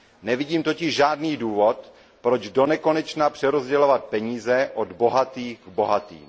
Nevidím totiž žádný důvod, proč do nekonečna přerozdělovat peníze od bohatých bohatým.